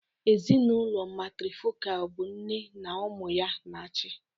Ezinụlọ Matrifocal bụ nne na ụmụ ya na-achị.